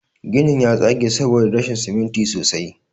Ginin ya tsage saboda rashin siminti sosai.